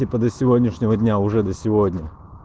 типа до сегодняшнего дня уже да сегодня